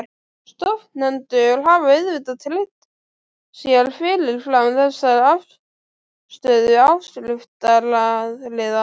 Stofnendur hafa auðvitað tryggt sér fyrirfram þessa afstöðu áskriftaraðila.